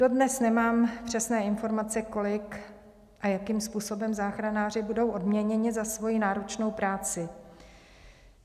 Dodnes nemám přesné informace, kolik a jakým způsobem záchranáři budou odměněni za svoji náročnou práci.